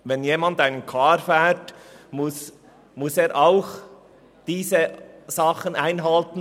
Wenn jemand einen Car fährt, muss er diese Regeln auch einhalten.